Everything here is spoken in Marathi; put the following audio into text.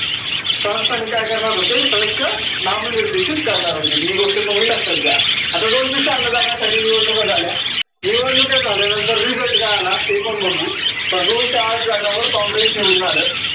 संस्थानिक काय करणार होते सदस्य नामनिर्देशित करणार होते. ही गोष्ट तुम्ही लक्षात घ्या. आता दोनशे श्याहान्नौ जागांसाठी निवडणुका झाल्या निवडणुका झाल्यानंतर result काय आला ते पण बघू. तर दोनशे आठ जागांवर काँग्रेस निवडून आलं.